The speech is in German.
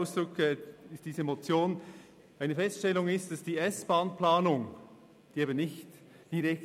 Es ist also keine persönliche Erfindung meinerseits.